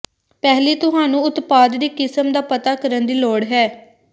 ਪਹਿਲੀ ਤੁਹਾਨੂੰ ਉਤਪਾਦ ਦੀ ਕਿਸਮ ਦਾ ਪਤਾ ਕਰਨ ਦੀ ਲੋੜ ਹੈ